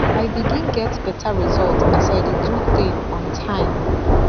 i begin get better result as i dey do thing on time